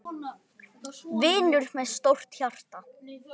Vinur með stórt hjarta.